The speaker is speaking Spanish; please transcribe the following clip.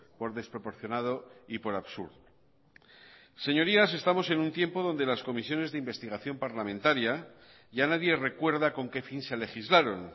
por desproporcionado y por absurdo señorías estamos en un tiempo donde las comisiones de investigación parlamentaria ya nadie recuerda con qué fin se legislaron